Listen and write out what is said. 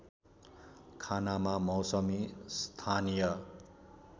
खानामा मौसमी स्थानीय